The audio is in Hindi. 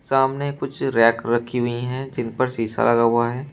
सामने कुछ रैक रखी हुई है जिन पर शीशा लगा हुआ है।